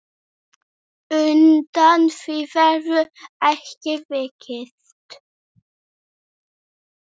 Undan því verður ekki vikist.